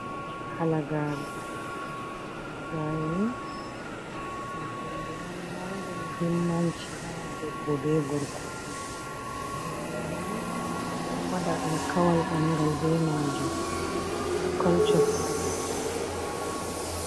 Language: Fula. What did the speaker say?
Halagare: Halagare ni ɗum hunde on marnde muhimmanci ha debbo be gorko fu. halagare ni ɓe ɗo waɗa alkawal ɓangal be majum ha kolco(culture) fere.